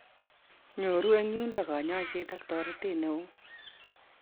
Nyoru en yundo kanyaiset ak toretet neon.